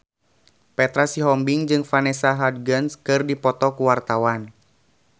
Petra Sihombing jeung Vanessa Hudgens keur dipoto ku wartawan